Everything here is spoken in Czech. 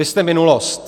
Vy jste minulost.